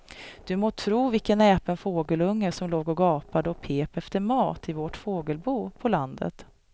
Du må tro vilken näpen fågelunge som låg och gapade och pep efter mat i vårt fågelbo på landet.